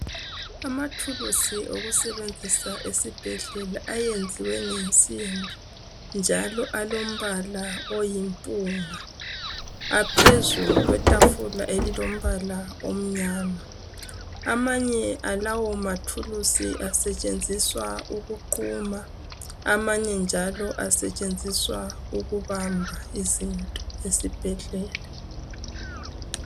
Amathuluzi okusebenzisa esibhedlela ayenziwe ngensimbi, njalo alombala oyimpunga. Aphezu kwetafula elilombala omnyama . Amanye alawomathuluzi asetshenziswa ukuquma. Amanye njalo asetshenziswa ukubamba izinto esibhedlela.